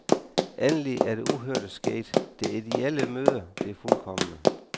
Endelig er det uhørte sket, det ideelle møder det fuldkomne.